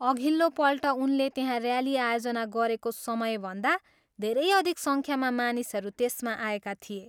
अघिल्लो पल्ट उनले त्यहाँ ऱ्याली आयोजना गरेको समयभन्दा धेरै अधिक सङ्ख्यामा मानिसहरू त्यसमा आएका थिए।